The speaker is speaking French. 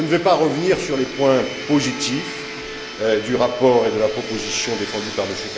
Je ne vais pas revenir sur les points positifs du rapport et de la proposition défendus par M.